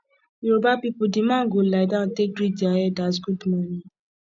yoruba pipo di man go lie down take greet dia elders gud morning